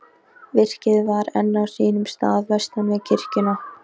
Virkið var enn á sínum stað vestan við kirkjuna.